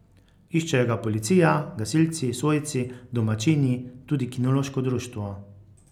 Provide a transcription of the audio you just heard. Iščejo ga policija, gasilci, svojci, domačini, tudi kinološko društvo.